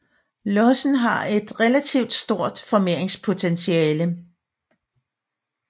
Lossen har et relativt stort formeringspotentiale